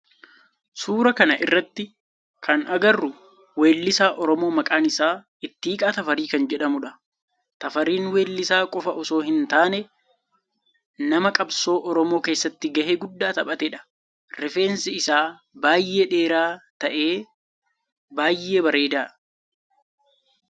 Suuraa kana irratti kan agarru weellisaa oromoo maqaan isaa Ittiqaa Tafarii kan jedhamudha. Tafariin weellisaa qofa osoo hin taane nama qabsoo oromoo keessatti gahe guddaa taphateedha. Rifeensi isaa baayyee dheeraa ta'e baayyee bareeda.